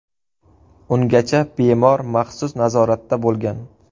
Ungacha bemor maxsus nazoratda bo‘lgan.